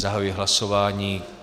Zahajuji hlasování.